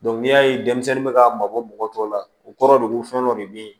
n'i y'a ye denmisɛnnin bɛ ka mabɔ mɔgɔ tɔw la o kɔrɔ de ko fɛn dɔ de bɛ yen